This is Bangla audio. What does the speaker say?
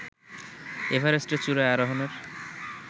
এভারেস্টের চূড়ায় আরোহণের